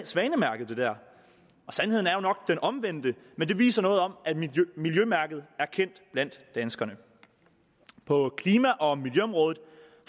svanemærket sandheden er jo nok den omvendte men det viser noget om at miljømærket er kendt blandt danskerne på klima og miljøområdet